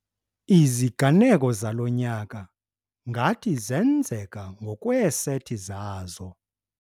Iziganeko zalo nyaka ngathi zenzeka ngokweeseti zazo.